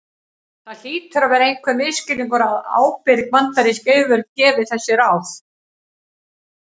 það hlýtur að vera einhver misskilningur að ábyrg bandarísk yfirvöld gefi þessi ráð